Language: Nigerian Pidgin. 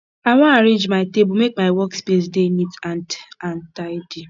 i wan arrange my table make my workspace dey neat and and tidy